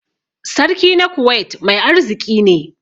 Sarki na Kuwait mai arziki ne.